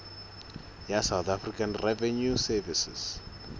ya south african revenue service